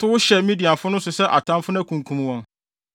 “Tow hyɛ Midianfo no so sɛ atamfo na kunkum wɔn.